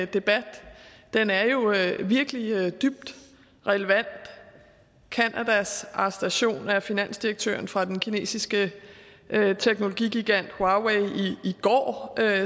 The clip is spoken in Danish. debat den er virkelig dybt relevant canadas arrestation af finansdirektøren for den kinesiske teknologigigant huawei i går